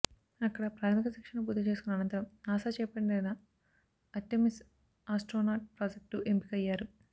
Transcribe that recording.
అక్కడ ప్రాథమిక శిక్షణను పూర్తి చేసుకున్న అనంతరం నాసా చేపట్టిన ఆర్టెమిస్ ఆస్ట్రోనాట్ ప్రాజెక్ట్కు ఎంపికయ్యారు